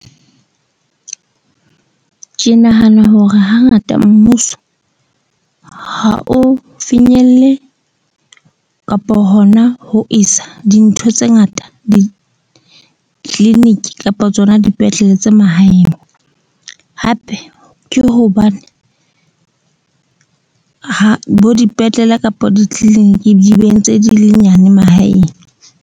Ke nahana hore hangata mmuso ha o finyelle kapo hona ho isa dintho tse ngata di-clinic-i kapa tsona dipetlele tsa mahaeng. Hape ke hobane bo dipetlele kapa di-clinic-i di be ntse di le nyane mahaeng.